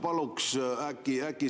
Protseduuriline küsimus, Priit Sibul, palun!